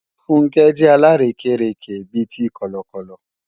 Funke jẹ́ alárékérekè bi ti Kọ̀lọ̀kọ̀lọ̀